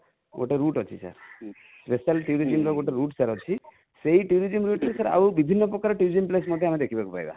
ଗୋଟେ route ଅଛି sir special tourism ର ଗୋଟେ route sir ଅଛି ସେଇ tourism ଭିତରେ sir ଆଉ ବିଭିନ୍ନ ପ୍ରକାରର tourism place ମଧ୍ୟ ଆମେ ଦେଖିବାକୁ ପାଇବା